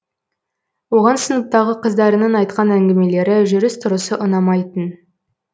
оған сыныптағы қыздарының айтқан әңгімелері жүріс тұрысы ұнамайтын